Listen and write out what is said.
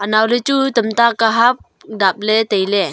naole chu tamta kahak daple taile.